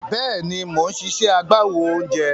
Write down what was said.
Bẹ́ẹ̀ni, mò ń ṣiṣẹ́ agbáwo oúnjẹ.